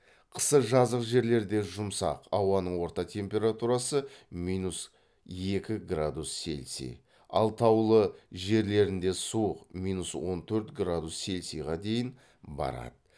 қысы жазық жерлерде жұмсақ ауаның орта температурасы минус екі градус селоси ал таулы жерлерінде суық минус он төрт градус селсиға дейін барады